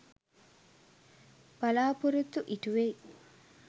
බලාපොරොත්තු ඉටුවෙයි.